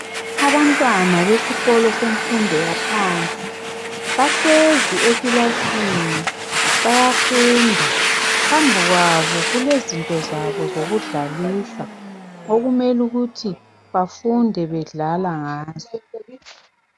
Abantwana besikolo semfundo yaphansi bahlezi ekilasini bayafunda. Phambi kwabo kulezinto zabo zokudlalisa okumele ukuthi bafunde bedlala ngazo.